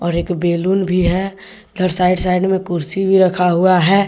और एक बैलून भी है। उधर साइड साइड में कुर्सी भी रखा हुआ है।